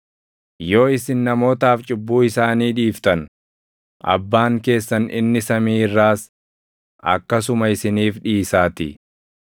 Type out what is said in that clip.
Yoo isin namootaaf cubbuu isaanii dhiiftan, Abbaan keessan inni samii irraas akkasuma isiniif dhiisaatii.